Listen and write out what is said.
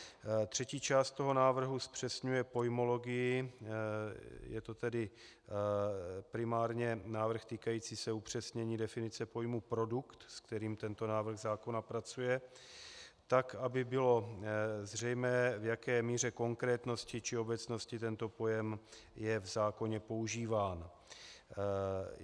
Třetí část toho návrhu zpřesňuje pojmologii, je to tedy primárně návrh týkající se upřesnění definice pojmu "produkt", se kterým tento návrh zákona pracuje, tak, aby bylo zřejmé, v jaké míře konkrétnosti či obecnosti tento pojem je v zákoně používán.